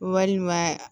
Walima